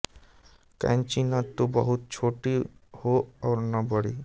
कैंची न तो बहुत छोटी हो और न बड़ी